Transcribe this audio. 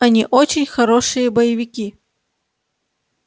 они очень хорошие боевики